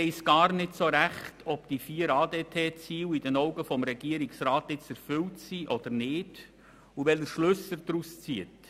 Man weiss nicht so recht, ob die vier ADT-Ziele in den Augen des Regierungsrats nun erfüllt sind oder nicht, und welche Schlüsse er daraus zieht.